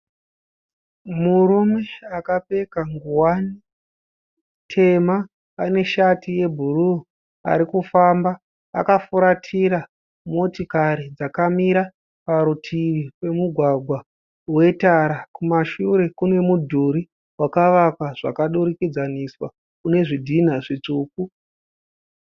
Murume akapfeka ngowani tema. Ane shati yebhuruu arikufamba. Akafuratira motokari dzakamira parutivi pemugwagwa wetara. Kumashure kune mudhuri wakavakwa zvakadurikidzaniswa une zvidhinha zvitsvuku.